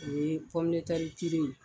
O ye ye